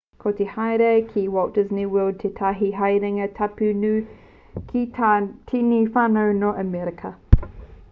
ko te haere ki walt disney world tētahi haerenga tapu nui ki ngā tini whānau nō amerika